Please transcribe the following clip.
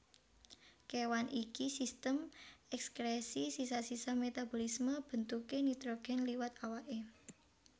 Kewan iKi Sistem ekskresi sisa sisa metabolisme bentuké nitrogen liwat awaké